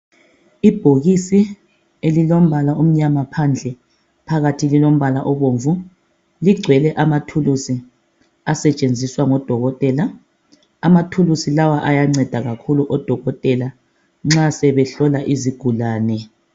Ibhokisi elilombala omnyama phandle, phakathi lilombala obomvu, ligcwele amathulusi asetshenziswa ngodokotela. Amathulusi lawa ayanceda kakhulu odokotela nxa sebehlola izigulane.